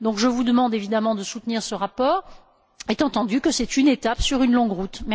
Je vous demande évidemment de soutenir ce rapport, étant entendu que c'est une étape sur une longue route.